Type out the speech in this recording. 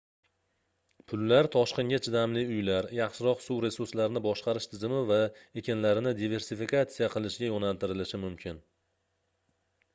pullar toshqinga chidamli uylar yaxshiroq suv resurslarini boshqarish tizimi va ekinlarni diversifikatsiya qilishga yoʻnaltirilishi mumkin